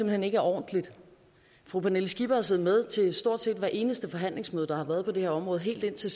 hen ikke er ordentligt fru pernille skipper har siddet med til stort set hvert eneste forhandlingsmøde der har været på det her område helt indtil